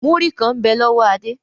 Múrí kàn ń bẹ lọ́wọ́ Adé.